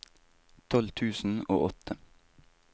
tolv tusen og åtte